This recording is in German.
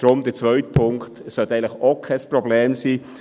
Deshalb sollte der zweite Punkt eigentlich auch kein Problem sein.